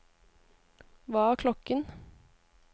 hva er klokken